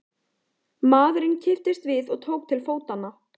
Maðurinn kipptist við og tók til fótanna.